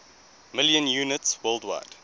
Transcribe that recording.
million units worldwide